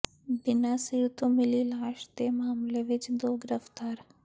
ਬਿਨਾਂ ਸਿਰ ਤੋਂ ਮਿਲੀ ਲਾਸ਼ ਦੇ ਮਾਮਲੇ ਵਿਚ ਦੋ ਗ੍ਰਿਫ਼ਤਾਰ